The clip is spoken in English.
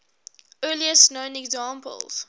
earliest known examples